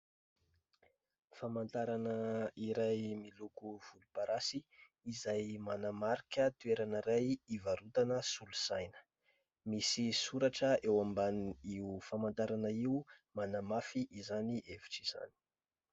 Famantarana iray miloko volomparasy, izay manamarika toerana iray, ivarotana solosaina. Misy soratra eo ambanin' io famantarana io, manamafy izany hevitra izany.